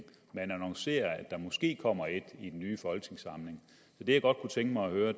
man annoncerer at der måske kommer et i den nye folketingssamling det jeg godt kunne tænke mig at høre